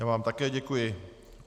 Já vám také děkuji.